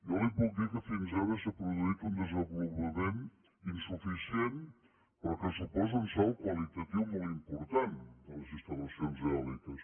jo li puc dir que fins ara s’ha produït un desenvolupament insuficient però que suposa un salt qualitatiu molt important de les instal·lacions eòliques